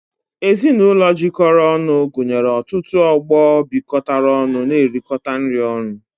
Ezinụlọ jikọrọ ọnụ gụnyere ọtụtụ ọgbọ bịkotara ọnụ n'erikota nri ọnụ